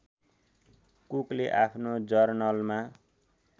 कुकले आफ्नो जर्नलमा